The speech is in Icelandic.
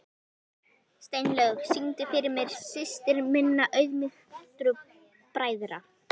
Steinlaug, syngdu fyrir mig „Systir minna auðmýktu bræðra“.